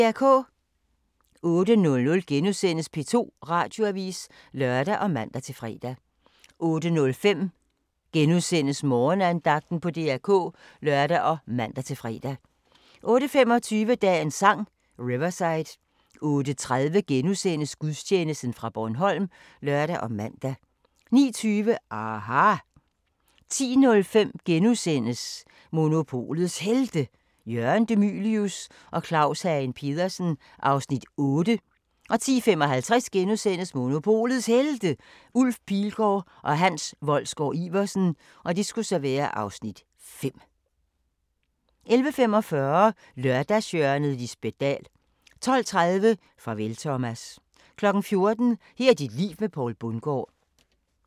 08:00: P2 Radioavis *(lør og man-fre) 08:05: Morgenandagten på DR K *(lør og man-fre) 08:25: Dagens Sang: Riverside 08:30: Gudstjeneste fra Bornholm *(lør og man) 09:20: aHA! 10:05: Monopolets Helte – Jørgen De Mylius og Claus Hagen Petersen (Afs. 8)* 10:55: Monopolets Helte – Ulf Pilgaard og Henrik Wolsgaard-Iversen (Afs. 5)* 11:45: Lørdagshjørnet - Lisbet Dahl 12:30: Farvel Thomas 14:00: Her er dit liv med Poul Bundgaard